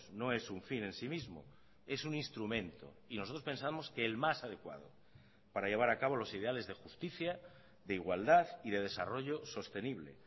no es un fin en sí mismo es un instrumento y nosotros pensamos que el más adecuado para llevar a cabo los ideales de justicia de igualdad y de desarrollo sostenible